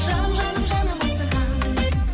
жаным жаным жаным асығамын